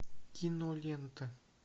кинолента